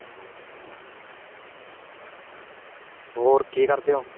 ਹੋਰ ਕੀ ਕਰਦੇ ਹੋ?